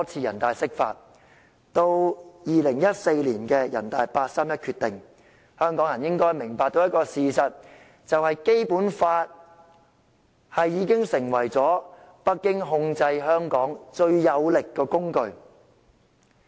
人大常委會於2014年作出八三一決定後，香港人應該明白到一個事實，就是《基本法》已經成為北京控制香港最有力的工具。